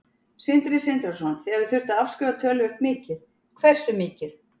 Sindri Sindrason: Þið hafið þurft að afskrifa töluvert mikið, hversu mikið?